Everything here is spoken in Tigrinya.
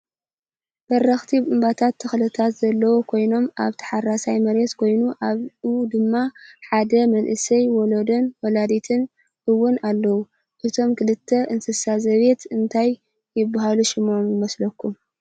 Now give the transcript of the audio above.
በረክቲ እምባታትን ተክልታት ዘለው ኮይኖም ኣብ ታሓራሳይ መሬት ኮይኑ ኣብኡ ድማ ሓደ መንእሰይ ወላድን ወላዲትን እውን ኣለው። እቶም ክልተ እንስሳ ዘቤት እንታይ ይባሃሉ ሽሞም ይመስለኩም?